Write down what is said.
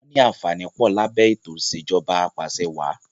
Wọn ní àǹfààní pọ̀ lábẹ́ ètò ìsèjọba apàṣẹwàà